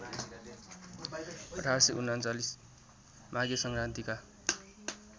१८३१ माघे सङ्क्रान्तिका